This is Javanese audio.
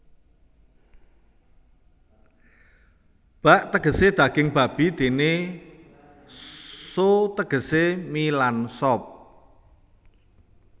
Bak tegesé daging babi déné so tegesé mi lan sop